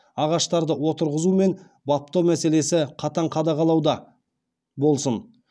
ағаштарды отырғызу мен баптау мәселесі қатаң қадағалауда болсын